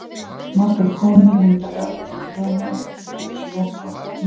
Margar konur vinda garn til að prjóna úr, til dæmis lopa, í rjúpu.